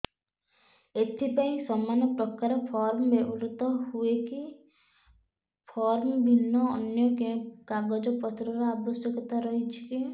ଏଥିପାଇଁ ସମାନପ୍ରକାର ଫର୍ମ ବ୍ୟବହୃତ ହୂଏକି ଫର୍ମ ଭିନ୍ନ ଅନ୍ୟ କେଉଁ କାଗଜପତ୍ରର ଆବଶ୍ୟକତା ରହିଛିକି